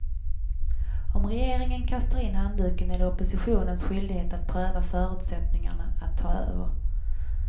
Om regeringen kastar in handduken är det oppositionens skyldighet att pröva förutsättningarna att ta över.